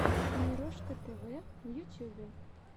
мирошка тв в ютьюбе